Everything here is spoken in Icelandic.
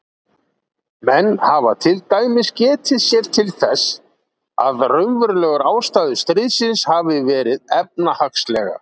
Menn hafa til dæmis getið sér þess til að raunverulegar ástæður stríðsins hafi verið efnahagslegar.